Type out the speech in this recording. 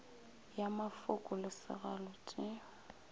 ya mafoko le segalo tše